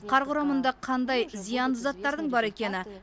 қар құрамында қандай зиянды заттардың бар екені